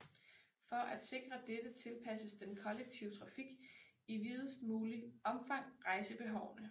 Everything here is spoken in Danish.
For at sikre dette tilpasses den kollektive trafik i videst mulig omfang rejsebehovene